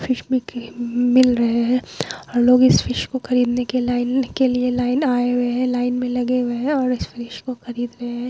Fish मिल रहे है और लोग इस फिश को खरीदने के लिए लाइन के लाइन आए हुए है। लाइन में लगे हुए है और इस फिश को खरीद रहे है।